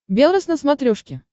белрос на смотрешке